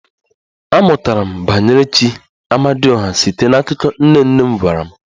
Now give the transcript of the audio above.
Amụtara m banyere chi "Amadioha" site n'akụkọ nne nne m gwara m